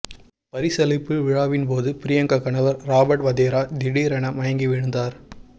பரிசளிப்பு விழாவின்போது பிரியங்கா கணவர் ராபர்ட் வதேரா திடீரென மயங்கி விழுந்தார்